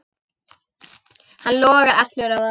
Hann logar allur af ást.